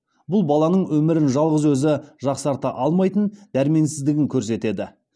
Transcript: бұл баланың өмірін жалғыз өзі жақсарта алмайтын дәрменсіздігін көрсетеді